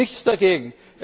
Ich habe nichts dagegen.